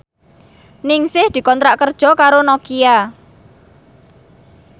Ningsih dikontrak kerja karo Nokia